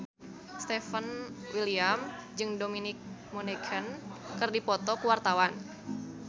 Stefan William jeung Dominic Monaghan keur dipoto ku wartawan